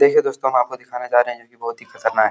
देखिए दोस्तों हम आपको दिखाने जा रहे है जो कि बहोत ही ख़तरनाक --